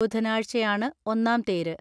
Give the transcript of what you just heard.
ബുധ നാഴ്ചയാണ് ഒന്നാം തേര്.